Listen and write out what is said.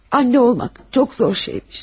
ana olmaq çox çətin şeymiş.